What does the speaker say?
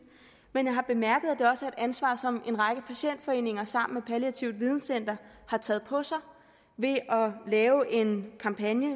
men jeg har bemærket at det også er et ansvar som en række patientforeninger sammen med palliativt videncenter har taget på sig ved at lave en kampagne